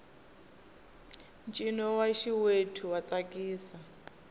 ncino wa xiwethu wa tsakisa